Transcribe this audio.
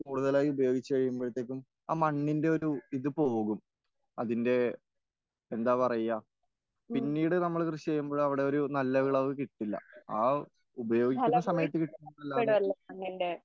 കൂടുതലായി ഉപയോഗിച്ച് കഴിയുമ്പോഴെത്തെക്കും ആ മണ്ണിന്റെ ഒരു ഇത് പോകും.അതിന്റെ എന്താ പറയാ, പിന്നീട് നമ്മള് കൃഷി ചെയ്യുമ്പോൾ അവിടെ ഒരു നല്ല വിളവ് കിട്ടില്ല.ആ ഉപയോഗിക്കുന്ന സമയത്ത്.